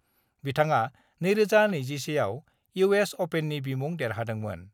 बिथाङा 2021 आवइउएस अपेननि बिमुं देरहादोंमोन।